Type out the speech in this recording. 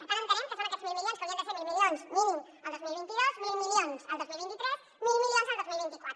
per tant entenem que són aquests mil milions que haurien de ser mil milions mínim el dos mil vint dos mil milions el dos mil vint tres mil milions el dos mil vint quatre